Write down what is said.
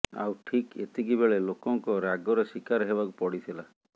ଆଉ ଠିକ୍ ଏତିକି ବେଳେ ଲୋକଙ୍କ ରାଗର ଶିକାର ହେବାକୁ ପଡ଼ିଥିଲା